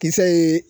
Kisɛ ye